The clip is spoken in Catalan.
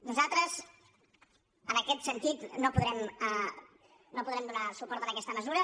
nosaltres en aquest sentit no podrem donar suport a aquesta mesura